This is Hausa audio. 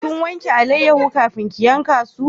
Kin wanke alayyahu kafin ki yanka su?